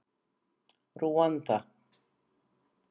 Rúanda